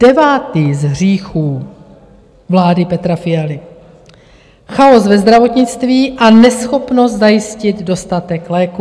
Devátý z hříchů vlády Petra Fialy - chaos ve zdravotnictví a neschopnost zajistit dostatek léků.